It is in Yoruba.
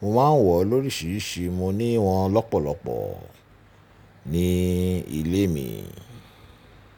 Mo máa ń wọ̀ oríṣiríṣi, mo ní wọn lọ́pọ̀lọpọ̀ ní ilé mi.